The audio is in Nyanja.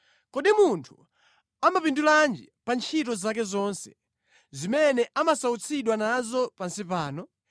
Kodi munthu amapindulanji pa ntchito zake zonse zimene amasautsidwa nazo pansi pano?